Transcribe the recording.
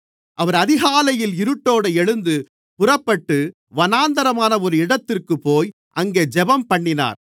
அவர் அதிகாலையில் இருட்டோடு எழுந்து புறப்பட்டு வனாந்திரமான ஒரு இடத்திற்குப்போய் அங்கே ஜெபம்பண்ணினார்